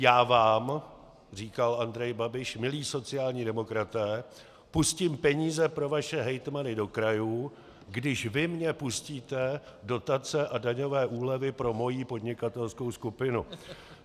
"Já vám," říkal Andrej Babiš, "milí sociální demokraté, pustím peníze pro vaše hejtmany do krajů, když vy mně pustíte dotace a daňové úlevy pro moji podnikatelskou skupinu."